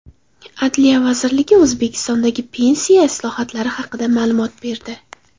Adliya vazirligi O‘zbekistondagi pensiya islohotlari haqida ma’lumot berdi.